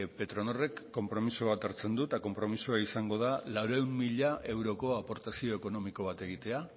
petronorrek konpromiso bat hartzen du eta konpromisoa izango da laurehun mila euroko aportazio ekonomiko bat egitea